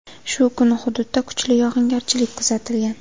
Shu kuni hududda kuchli yog‘ingarchilik kuzatilgan.